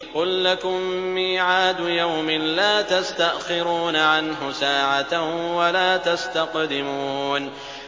قُل لَّكُم مِّيعَادُ يَوْمٍ لَّا تَسْتَأْخِرُونَ عَنْهُ سَاعَةً وَلَا تَسْتَقْدِمُونَ